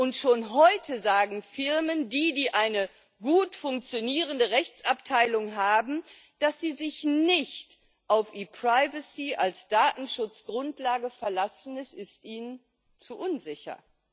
Und schon heute sagen Firmen, die eine gut funktionierende Rechtsabteilung haben, dass sie sich nicht auf ePrivacy als Datenschutzgrundlage verlassen, es ist ihnen zu unsicher.